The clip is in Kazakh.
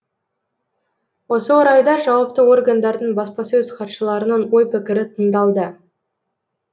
осы орайда жауапты органдардың баспасөз хатшыларының ой пікірі тыңдалды